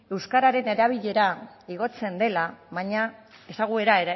euskararen ezaguera